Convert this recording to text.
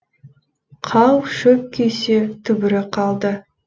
қау шөп күйсе түбірі қалды